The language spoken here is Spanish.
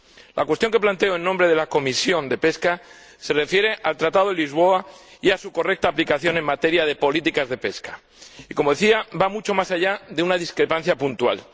La cuestión que planteo en nombre de la Comisión de Pesca se refiere al Tratado de Lisboa y a su correcta aplicación en materia de políticas de pesca y, como decía, va mucho más allá de una discrepancia puntual.